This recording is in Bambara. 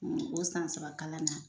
O san saba kalan na